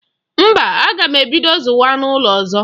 Mba, aga m ebido zụwa anụ ụlọ ọzọ.